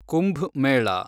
Kumbh Mela